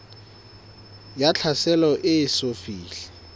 ya tlhaselo e eso fihle